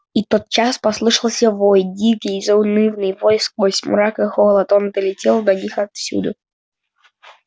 и тотчас же послышался вой дикий заунывный вой сквозь мрак и холод он долетел до них отовсюду